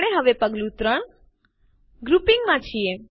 આપણે હવે પગલું ૩ ગ્રુપિંગ માં છીએ